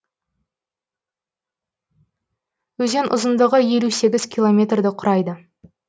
өзен ұзындығы елу сегіз километрді құрайды